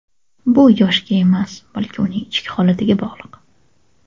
Bu yoshga emas, balki uning ichki holatiga bog‘liq.